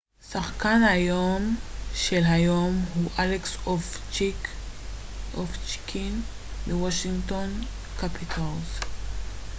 שחקן היום של היום הוא אלכס אובצ'קין מוושינגטון קפיטלס